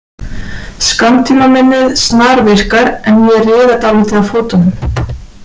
Skammtímaminnið snarvirkar, en ég riða dálítið á fótunum.